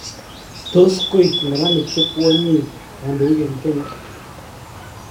Tos koek neranik chekwonyit kandoik en Kenya?